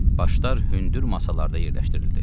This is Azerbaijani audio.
Başlar hündür masalarda yerləşdirildi.